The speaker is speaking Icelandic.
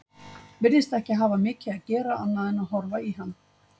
Virðist ekki hafa mikið að gera annað en að horfa í hann.